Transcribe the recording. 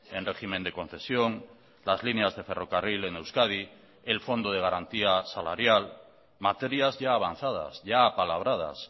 en régimen de concesión las líneas de ferrocarril en euskadi el fondo de garantía salarial materias ya avanzadas ya apalabradas